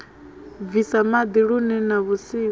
bvisa maḓi lune na vhusiku